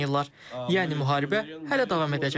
Yəni müharibə hələ davam edəcək.